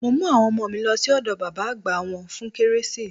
Mo mú àwọn ọmọ mi lọ sí ọ̀dọ̀ bàbá àgbà wọ́n fún kérésì.